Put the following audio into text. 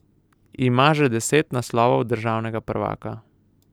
Ima že deset naslovov državnega prvaka.